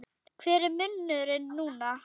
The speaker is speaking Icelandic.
Hver er munurinn núna?